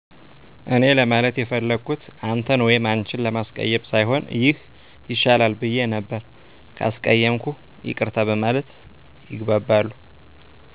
እኔ ለማለት የፈለኩት አንተን ወይም አንችን ለማስቀየም ሳይሆን ይህ ይሻላል ብየ ነበር። ካስቀየምኩ ይቅርታ በማለት ይግባባሉ።